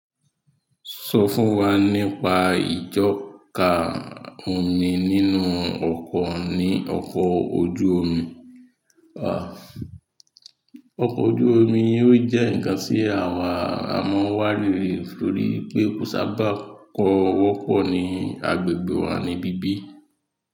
Sọ fún wa nípa ìjọ́ka omi nínú ọkọ̀ ní ọkọ̀ ojú omi? Ọkọ̀ ojú omi yóò jẹ́ ǹkan tí àwa a máa wá rí torí pé kò sábà kọ́wọ́pọ̀ ní agbègbè wa níbí bí.